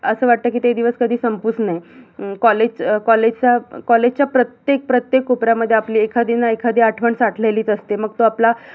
अस वाटत कि ते दिवस कधी संपूच नाही अं college college च्या college च्या प्रत्येक प्रत्येक उपरा मध्ये आपली एखादी ना एखादी आठवण साठलेलीच असते मग तो आपला